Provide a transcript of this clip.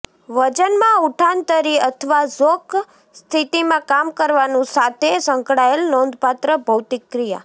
વજનમાં ઉઠાંતરી અથવા ઝોક સ્થિતિમાં કામ કરવાનું સાથે સંકળાયેલ નોંધપાત્ર ભૌતિક ક્રિયા